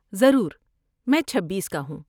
ضرور، میں چھبیس کا ہوں